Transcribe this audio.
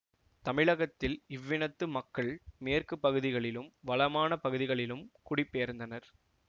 தமிழகத்தில் இவ்வினத்து மக்கள் மேற்கு பகுதிகளிலும் வளமான பகுதிகளிலும் குடிபெயர்ந்தனர்